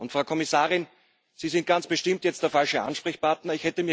Frau Kommissarin, Sie sind ganz bestimmt jetzt der falsche Ansprechpartner.